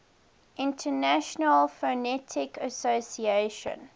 international phonetic association